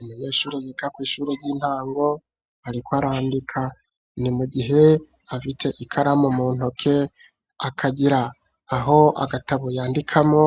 Imunyeshure rikakw'ishure ry'intango, ariko arandika ni mu gihe afite ikaramu mu ntoke akagira aho agatabu yandikamo,